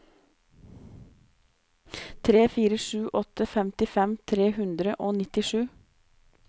tre fire sju åtte femtifem tre hundre og nittisju